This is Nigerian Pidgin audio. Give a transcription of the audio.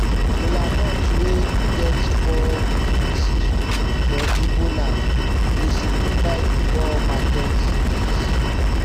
kolanut wey get four pieces for igbo land dey signify di four market days